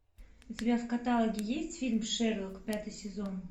у тебя в каталоге есть фильм шерлок пятый сезон